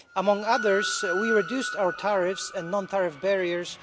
Among others, we reduced our tariffs and non tariff barriers.